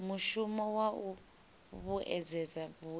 mushumo wa u vhuedzedza vhuimo